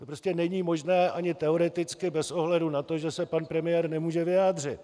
To prostě není možné ani teoreticky bez ohledu na to, že se pan premiér nemůže vyjádřit.